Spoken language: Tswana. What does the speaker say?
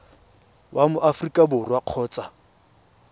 wa mo aforika borwa kgotsa